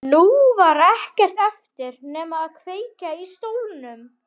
Nú var ekkert eftir nema að kveikja í stólnum.